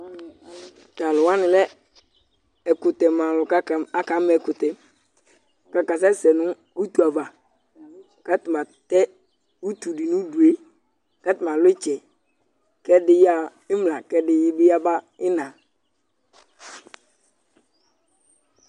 Tʋ alʋ wanɩ lɛ ɛkʋtɛma alʋ kʋ akama ɛkʋtɛ kʋ akasɛsɛ nʋ utu ava kʋ atanɩ atɛ utu dɩ nʋ udu yɛ Kʋ atanɩ alʋ ɩtsɛ kʋ ɛdɩ yaɣa ɩmla kʋ ɛdɩ bɩ yaba ɩɣɩna